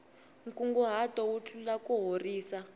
nkunguhato wu tlula kuhorisa